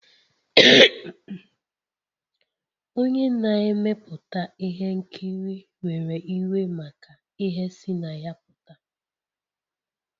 Onye na-emepụta ihe nkiri were iwe maka ihe si na ya pụta